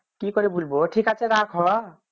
কি করে বলবো ঠিক আছে রাখ হ